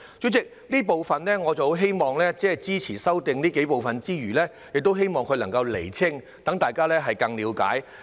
主席，我除了支持這幾部分的修正案之餘，也希望當局能夠釐清相關事宜，讓大家更加了解。